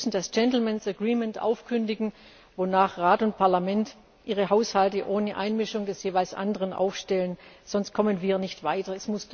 Wir müssen das Gentlemen's Agreement aufkündigen, wonach Rat und Parlament ihre Haushalte ohne Einmischung des jeweils anderen aufstellen, sonst kommen wir nicht weiter.